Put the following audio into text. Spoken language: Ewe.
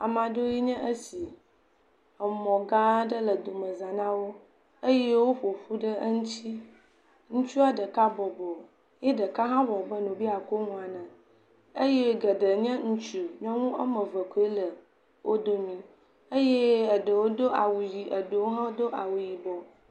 Ame aɖewoe nye esi, emɔ gã aɖe le domeza na wo eye woƒo ƒu ɖe eŋuti, ŋutsua ɖeka bɔbɔ eye ɖeka hã wɔ abe ɖee wo be yeakɔ nu ene eye geɖe nye ŋutsu nyɔnu woame eve nye nyɔnu, eɖewo do awu ʋi eye eɖewo do awu yibɔ.